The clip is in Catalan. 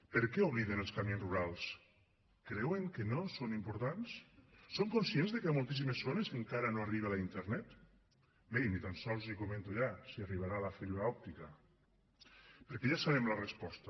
per què obliden els camins rurals creuen que no són importants són conscients de que hi ha moltíssimes zones en què encara no arriba la internet bé i ni tan sols li comento ja si hi arribarà la fibra òptica perquè ja sabem la resposta